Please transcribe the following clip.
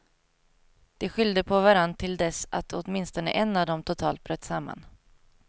De skyllde på varann till dess att åtminstone en av dem totalt bröt samman.